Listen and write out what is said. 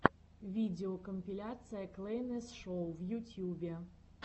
видеокомпиляция клэйнес шоу в ютьюбе